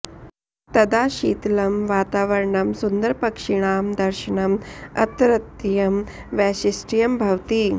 तदा शितलं वातावरणं सुन्दरपक्षिणां दर्शनम् अत्रत्यं वैशिष्ट्यं भवति